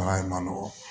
Baara in man nɔgɔn